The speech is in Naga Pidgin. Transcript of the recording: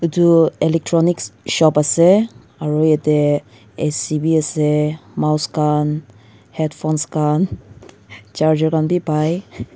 itu electronics dukan ase aru yete ac bi ase mouse khan headphones khan charger khan wii pai.